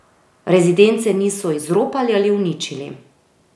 Rezidence niso izropali ali uničili.